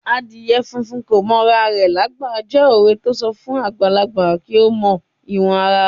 "Adìyẹ funfun kò mọ ara rẹ lágbà" jẹ́ òwe to ń sọ fún àgbàlagbà kí ó mọ ìwọ̀n ara rẹ̀.